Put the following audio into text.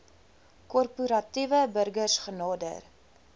korporatiewe burgers genader